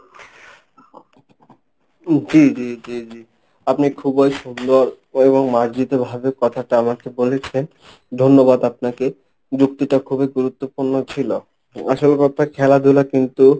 জি জি জি, আপনি খুবই সুন্দর এবং মার্জিত ভাবে কথাটা আমাকে বলেছেন ধন্যবাদ আপনাকে যুক্তিটা খুবই গুরুত্বপূর্ণ ছিল। আসল কথা খেলাধুলা কিন্তু